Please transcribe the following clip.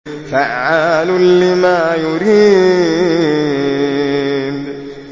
فَعَّالٌ لِّمَا يُرِيدُ